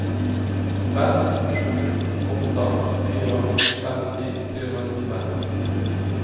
fem sju åtta fyra femtio trehundranittiofem